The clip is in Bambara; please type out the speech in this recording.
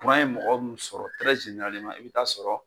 Kuran ye mɔgɔ min sɔrɔ i bɛ taa sɔrɔ